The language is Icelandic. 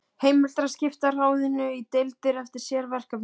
Heimilt er að skipta ráðinu í deildir eftir sérverkefnum.